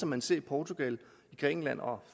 man ser i portugal i grækenland og